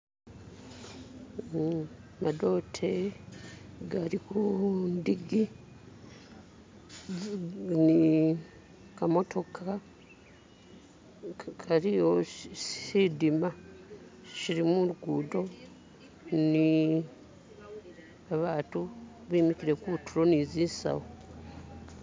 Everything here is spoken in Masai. Madote gali ku ndigi ni kamotoka kaliwo tsindima tsili mulugundo ni babantu bimikile kutulo ni zisawu